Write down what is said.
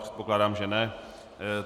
Předpokládám, že ne.